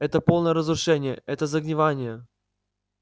это полное разрушение это загнивание